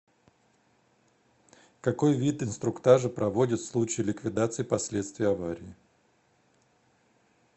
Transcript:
какой вид инструктажа проводят в случае ликвидации последствий аварий